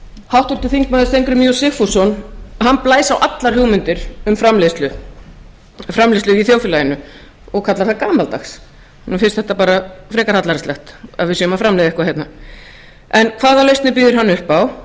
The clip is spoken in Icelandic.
háttvirtur þingmaður steingrímur j sigfússon blæs á allar hugmyndir um framleiðslu í þjóðfélaginu og kallar þær gamaldags honum finnst þetta bara frekar hallærislegt að við séum að framleiða eitthvað hérna hvaða lausnir býður hann upp á